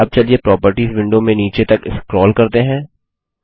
अब चलिए properties window में नीचे तक स्क्रोल करते हैं